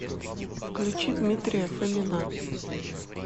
включи дмитрия фомина